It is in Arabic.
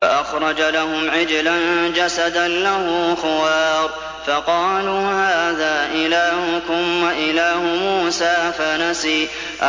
فَأَخْرَجَ لَهُمْ عِجْلًا جَسَدًا لَّهُ خُوَارٌ فَقَالُوا هَٰذَا إِلَٰهُكُمْ وَإِلَٰهُ مُوسَىٰ فَنَسِيَ